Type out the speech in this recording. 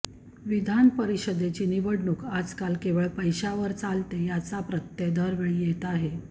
विधानपरिषदेची निवडणूूक आजकाल केवळ पैशावर चालते याचा प्रत्यय दरवेळी येत आहे